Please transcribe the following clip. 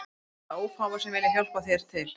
Og þeir verða ófáir sem vilja hjálpa þér til